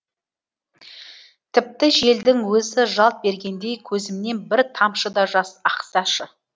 тіпті желдің өзі жалт бергендей көзімнен бір тамшы да жас ақсашы